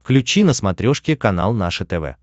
включи на смотрешке канал наше тв